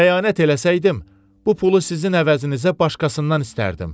Xəyanət eləsəydim, bu pulu sizin əvəzinizə başqasından istərdim.